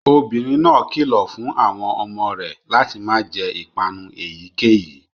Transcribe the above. Obinrin náà kilọ fun awọn ọmọ rẹ lati ma jẹ ipanu eyikeyi